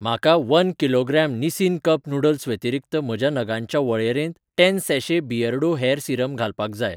म्हाका one kilogram Nissin cup noodles व्यतिरीक्त म्हज्या नगांच्या वळेरेंत ten sachet Beardo hair serum घालपाक जाय.